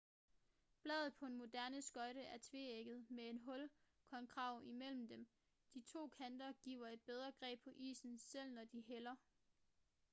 bladet på en moderne skøjte er tveægget med en hul konkav imellem dem de to kanter giver et bedre greb på isen selv når de hælder